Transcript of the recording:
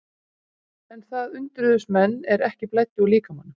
En það undruðust menn er ekki blæddi líkamanum.